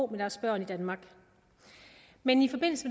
med deres børn i danmark men i forbindelse